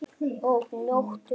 Og njóttu vel.